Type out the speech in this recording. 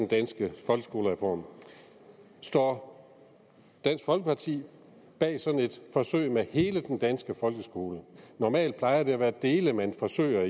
danske skolereform står dansk folkeparti bag sådan et forsøg med hele den danske folkeskole normalt plejer det at være dele man forsøger